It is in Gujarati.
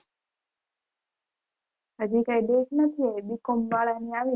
હજી કોઈ book નથી આવી b. com વાળા ની આવી